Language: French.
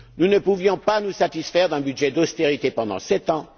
Nous ne pouvions pas nous satisfaire d'un budget d'austérité pendant sept ans.